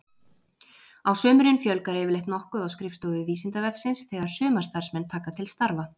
Á sumrin fjölgar yfirleitt nokkuð á skrifstofu Vísindavefsins þegar sumarstarfsmenn taka til starfa.